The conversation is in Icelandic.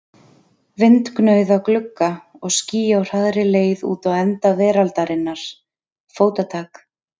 Vindgnauð á glugga og ský á hraðri leið út á enda veraldarinnar, fótatak.